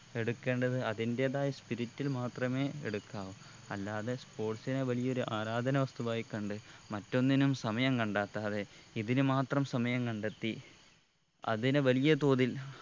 എടുക്കേണ്ടത് അതിന്റെതായ spirit ൽ മാത്രമേ എടുക്കാവൂ അല്ലാതെ sports നെ വലിയൊരു ആരാധന വസ്തുവായി കണ്ട് മറ്റൊന്നിനും സമയം കണ്ടെത്താതെ ഇതിനു മാത്രം സമയം കണ്ടെത്തി അതിനെ വലിയതോതിൽ